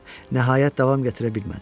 Nəhayət davam gətirə bilmədim.